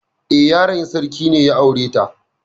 Eh, yaron sarki ne ya aure ta.